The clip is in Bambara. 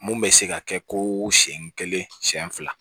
Mun bɛ se ka kɛ ko senɲɛ kelen siɲɛ fila